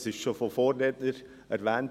Dies wurde schon von den Vorrednern erwähnt.